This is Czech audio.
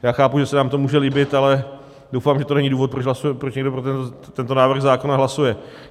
Já chápu, že se nám to může líbit, ale doufám, že to není důvod, proč někdo pro tento návrh zákona hlasuje.